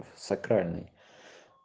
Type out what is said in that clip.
сакральный